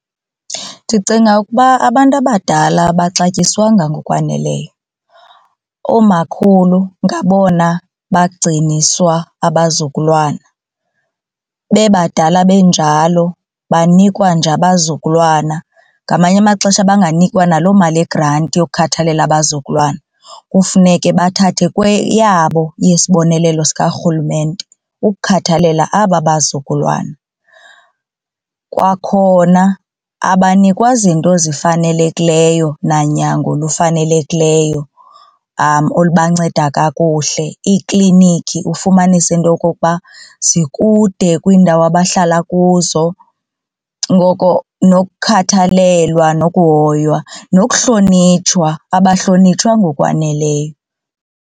Ndicinga ukuba abantu abadala abaxatyiswanga ngokwaneleyo. Oomakhulu ngabona bagciniswa abazukulwana bebadala benjalo banikwa nje abazukulwana ngamanye amaxesha banganikwa naloo mali yegranti yokhathalela abazukulwana kufuneke bathathe kweyabo yesibonelelo sikaRhulumente ukukhathalela aba bazukulwana. Kwakhona abanikwa zinto zifanelekileyo nanyango lufanelekileyo olubanceda kakuhle, iiklinikhi ufumanise into yokokuba zikude kwiindawo abahlala kuzo ngoko nokukhathalela nokuhoywa. Nokuhlonitshwa abahlonitshwa ngokwaneleyo.